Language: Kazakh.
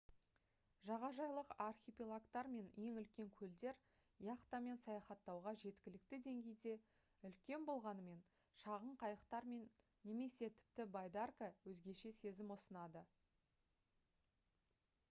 жағажайлық архипелагтар мен ең үлкен көлдер яхтамен саяхаттауға жеткілікті деңгейде үлкен болғанымен шағын қайықтар немесе тіпті байдарка өзгеше сезім ұсынады